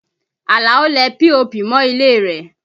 Àlàó lẹ POP mọ ilé rẹ̀